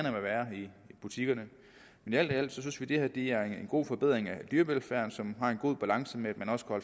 i butikkerne men alt i alt synes vi at det her er en god forbedring af dyrevelfærden som er i en god balance med